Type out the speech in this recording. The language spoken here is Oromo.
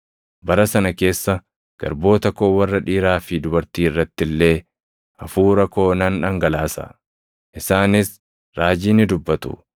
Bara sana keessa garboota koo warra dhiiraa fi dubartii irratti illee, Hafuura koo nan dhangalaasa; isaanis raajii ni dubbatu.